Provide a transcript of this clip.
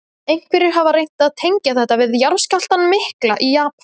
Einhverjir hafa reynt að tengja þetta við jarðskjálftann mikla í Japan.